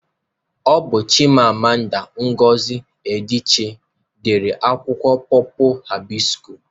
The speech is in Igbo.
Ọ bu Chimamanda Ngozi Adiche dere akwụkwọ pọpul hibịskus